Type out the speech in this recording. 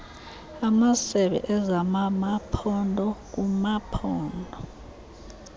amasebe ezamamaphondo kumaphondo